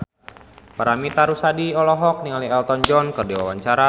Paramitha Rusady olohok ningali Elton John keur diwawancara